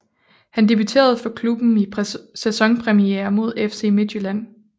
Han debuterede for klubben i sæsonpremiere mod FC Midtjylland